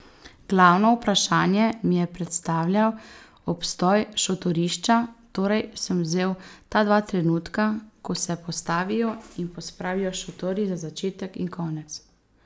Glavno vprašanje mi je predstavljal obstoj šotorišča, torej sem vzel ta dva trenutka, ko se postavijo in pospravijo šotori, za začetek in konec.